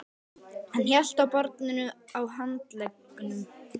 Hann hélt á barninu á handleggnum.